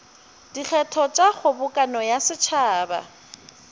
dikgetho tša kgobokano ya setšhaba